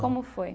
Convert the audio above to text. Como foi?